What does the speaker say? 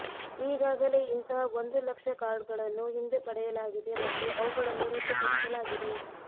ಈಗಾಗಲೇ ಇಂತಹ ಒಂದು ಲಕ್ಷ ಕಾರ್ಡ್ಗಳನ್ನು ಹಿಂದೆ ಪಡೆಯ ಲಾಗಿದೆ ಮತ್ತು ಅವುಗಳನ್ನು ರದ್ದುಪಡಿಸಲಾಗಿದೆ